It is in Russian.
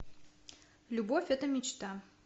любовь это мечта